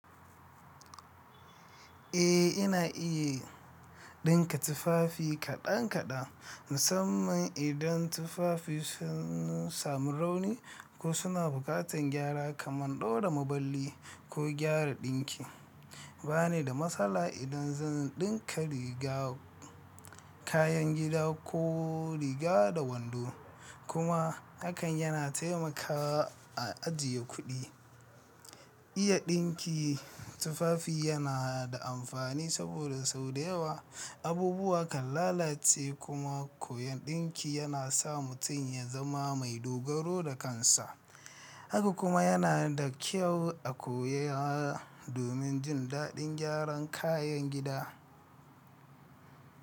Eh, ina iya dinka tufafi kaɗan kaɗan, musamman idan tufafi sun samu rauni ko suna buƙatar gyara kamar ɗaura maballi ko gyara ɗinki. Bani da matsala idan zan dinka riga, kayan gida ko riga da wando, kuma hakan yana taimakawa a ajiye kuɗi. Iya dinki tufafi yana da amfani saboda sau da yawa abubuwa kan lalace kuma koyon dinki yana sa mutum ya zama mai dogaro da kansa, haka kuma yana da kyau a koya domin jin daɗin gyaran kayan gida.